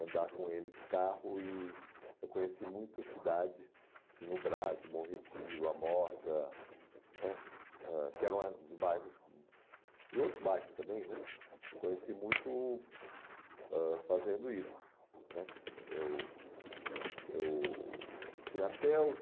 andar com ele de carro e eu conheci muito a cidade, assim, o Brás, o Bom Retiro, a Moca, né, ãh que eram os bairros, hum, e outros bairros também, né, conheci muito ãh fazendo isso, né, eu, eu, assim, até os